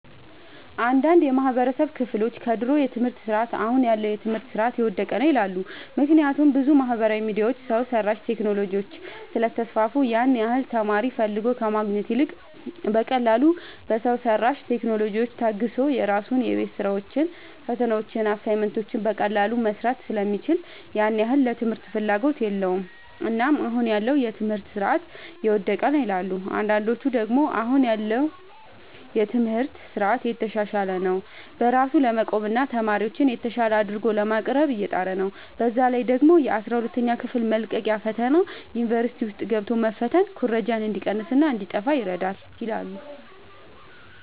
አንዳንድ የማህበረሰቡ ክፍሎች ከድሮ የትምህርት ስርዓት አሁን ያለው የትምህርት ስርዓት የወደቀ ነው ይላሉ። ምክንያቱም ብዙ ማህበራዊ ሚዲያዎች፣ ሰው ሰራሽ ቴክኖሎጂዎች ስለተስፋፉ ያን ያህል ተማሪ ፈልጎ ከማግኘት ይልቅ በቀላሉ በሰው ሰራሽ ቴክኖሎጂዎች ታግዞ የራሱን የቤት ስራዎችን፣ ፈተናዎችን፣ አሳይመንቶችን በቀላሉ መስራት ስለሚችል ያን ያህል ለትምህርት ፍላጎት የለውም። እናም አሁን ያለው የትምህርት ስርዓት የወደቀ ነው ይላሉ። አንዳንዶች ደግሞ አሁን ላይ ያለው የትምህርት ስርዓት እየተሻሻለ ነው። በራሱ ለመቆምና ተማሪዎችን የተሻለ አድርጎ ለማቅረብ እየጣረ ነው። በዛ ላይ ደግሞ የአስራ ሁለተኛ ክፍል መልቀቂያ ፈተና ዩኒቨርሲቲ ውስጥ ገብቶ መፈተን ኩረጃ እንዲቀንስና እንዲጣፋ ይረዳል ይላሉ።